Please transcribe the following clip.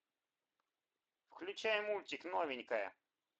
включай мультик новенькая